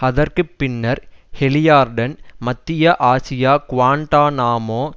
அதற்கு பின்னர் ஹாலிபார்டன் மத்திய ஆசியா குவாண்டநாமோ